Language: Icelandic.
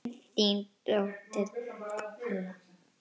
Þín dóttir, Halla.